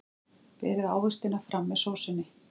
Berið ávextina fram með sósunni.